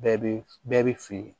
Bɛɛ bɛ bɛɛ bɛ fili